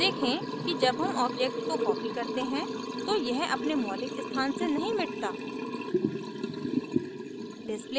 देखें कि जब हम object को copy करते हैं तो यह अपने मौलिक स्थान से नहीं मिटता